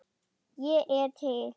Ég er til